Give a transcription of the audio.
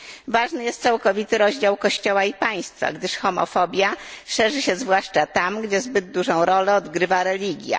Ważny jest całkowity rozdział kościoła i państwa, gdyż homofobia szerzy się zwłaszcza tam, gdzie zbyt dużą rolę odgrywa religia.